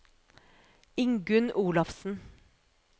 Ingunn Olafsen